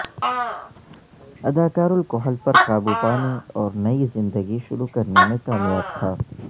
اداکار الکحل پر قابو پانے اور نئی زندگی شروع کرنے میں کامیاب تھا